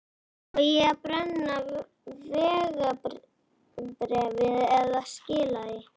Á ég að brenna vegabréfið eða skila því?